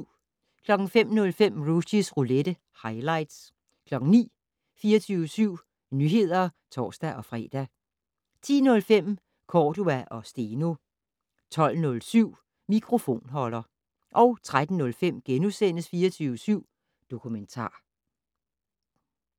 05:05: Rushys roulette - highlights 09:00: 24syv Nyheder (tor-fre) 10:05: Cordua & Steno 12:07: Mikrofonholder 13:05: 24syv Dokumentar *